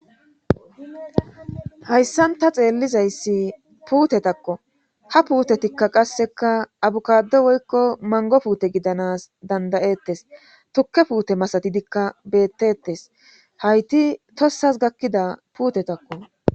hayssan ta xeellizayssi puutetakko ha puutetikka qasseka abukado woykko mango puute gidanas dandayettes tukke puute masatidikka bettettes hayti tossas gakkida puutetakko